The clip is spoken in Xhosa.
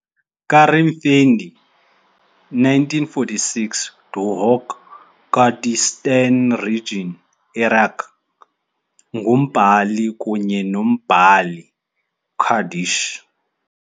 Karim Findi, 1946, Duhok, Kurdistan Region - Iraq, ngumbhali kunye nombhali Kurdish.